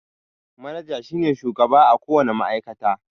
Manaja shi ne shugaba a ko wane ma'aikata.